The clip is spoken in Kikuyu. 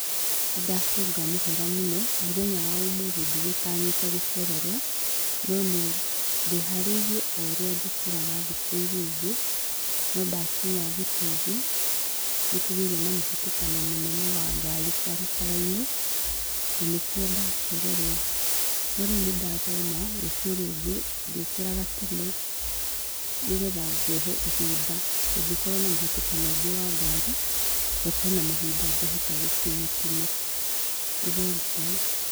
Nĩndacũnga mũhera mũno mũthenya wa ũmũthĩ ndigutanyĩte gũcererwo no ndĩharĩrie o oũrĩa njũkĩraga thiku ĩra ingĩ nondakinya thitĩnji nĩkũgĩire na mũhĩtũkano mũnene wa ngari barabara-inĩ na nĩkĩo ndacererwo. No rĩu nĩndathoma rũciũ rũngĩ ndĩriũkĩraga tene nĩgetha ngehe ihinda ngũngĩkorwo na mũhitũkano ũngĩ wa ngari, ngakorowo na mahinda ngahota gũkinya tene. Nĩ thengiũ.